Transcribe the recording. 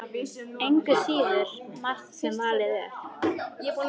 Engu að síður margt sem valið er.